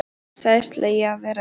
Sagðist til í að vera lengur.